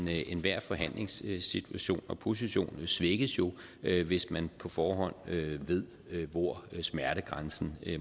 enhver forhandlingssituation og position position svækkes hvis man på forhånd ved hvor smertegrænsen